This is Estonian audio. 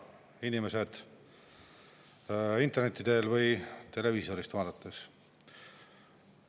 Head inimesed, kes vaatavad meid interneti teel või televiisorist!